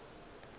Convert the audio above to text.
ge o ka re o